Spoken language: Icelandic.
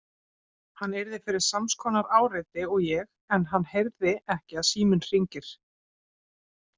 Hann yrði fyrir sams konar áreiti og ég en hann heyrði ekki að síminn hringir.